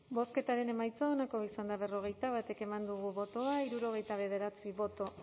bozketaren emaitza onako izan da berrogeita bat eman dugu bozka hirurogeita bederatzi boto